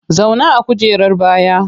Zauna a kujerar baya!